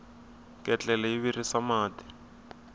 ketlele yi virisa mati